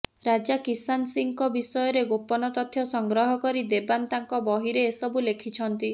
ରାଜା କିସାନ ସିଂହଙ୍କ ବିଷୟରେ ଗୋପନ ତଥ୍ୟ ସଂଗ୍ରହ କରି ଦେବାନ ତାଙ୍କ ବହିରେ ଏସବୁ ଲେଖିଛନ୍ତି